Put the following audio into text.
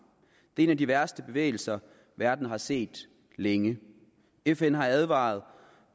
det er en af de værste bevægelser verden har set længe fn har advaret